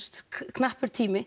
knappur tími